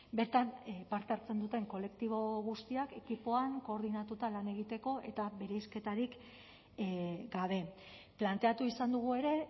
bertan parte hartzen duten kolektibo guztiak ekipoan koordinatuta lan egiteko eta bereizketarik gabe planteatu izan dugu ere